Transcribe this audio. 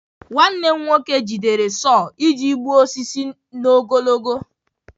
Nwanne m nwoke jidere sau iji gbuo osisi n'ogologo.